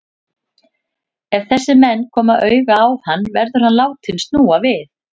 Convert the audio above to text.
Ef þessir menn koma auga á hann, verður hann látinn snúa við.